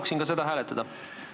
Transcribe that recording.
Ma palun ka seda hääletada!